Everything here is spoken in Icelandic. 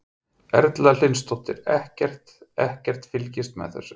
Erla Hlynsdóttir: Ekkert, ekkert fylgst með þessu?